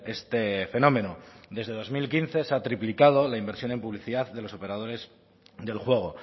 este fenómeno desde dos mil quince se ha triplicado la inversión en publicidad de los operadores del juego